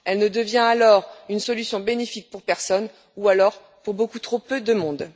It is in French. Elle ne devient alors une solution bénéfique pour personne ou, alors, pour beaucoup trop peu de monde.